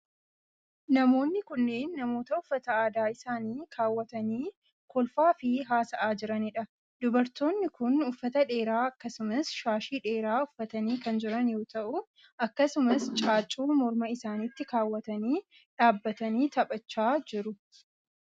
Namoonni kunneen, namoota uffata aadaa isaanii kaawwatanii kolfaa fi haasa'aa jiranii dha. Dubartoonni kun, uffata dheeraa akkasumas shashii dheeraa uffatanii kan jiran yoo ta'u, akkasumas caaccuu morma isaanitti kaawwatanii dhaabbatanii taphachaa iru.